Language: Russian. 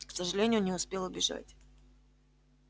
к сожалению не успел убежать